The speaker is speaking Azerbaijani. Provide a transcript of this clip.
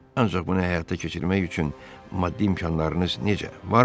Ancaq bunu həyata keçirmək üçün maddi imkanlarınız necə, varmı?